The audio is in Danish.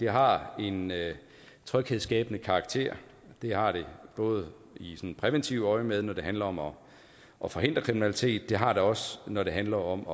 har en tryghedsskabende karakter det har det både i præventivt øjemed når det handler om om at forhindre kriminalitet og det har det også når det handler om